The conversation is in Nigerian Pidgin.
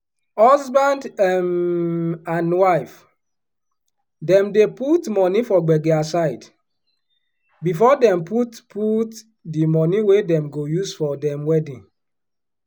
husband um and wife dem dey put moni for gbege aside before dem put put di one wey dem go use for dem wedding.